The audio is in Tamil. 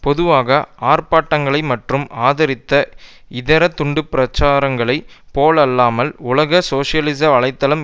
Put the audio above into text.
பொதுவாக ஆர்ப்பாட்டங்களை மட்டும் ஆதரித்த இதர துண்டு பிரசுரங்களை போலல்லாமல் உலக சோசியலிச வலை தளம்